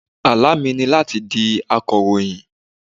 Àlá mi ni láti di akọ̀ròyìn.